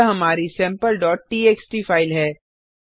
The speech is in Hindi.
यहाँ हमारी sampleटीएक्सटी फाइल है